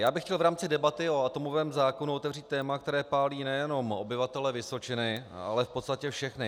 Já bych chtěl v rámci debaty o atomovém zákonu otevřít téma, které pálí nejenom obyvatele Vysočiny, ale v podstatě všechny.